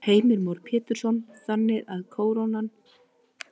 Heimir Már Pétursson: Þannig að krónan er ósköp einfaldlega of dýr?